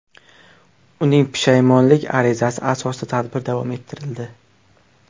Uning pushaymonlik arizasi asosida tadbir davom ettirildi.